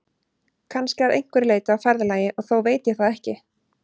Kannski að einhverju leyti á ferðalagi, og þó veit ég það ekki.